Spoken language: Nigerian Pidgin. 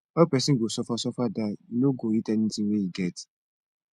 how pesin go suffer sufer die e no go eat anthing wey e get